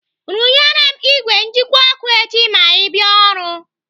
Rụnyere m ìgwè njikwa ọkụ echi ma ị bịa ọrụ.